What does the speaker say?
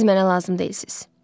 Siz mənə lazım deyilsiz.